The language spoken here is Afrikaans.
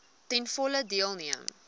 ten volle deelneem